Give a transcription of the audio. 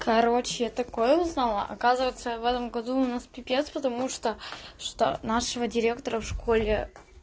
короче такое узнала оказывается в этом году у нас пипец потому что что нашего директора в школе